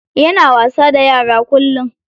Yana wasa da yara kullum.